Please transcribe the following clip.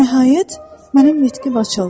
Nəhayət, mənim nitqim açıldı.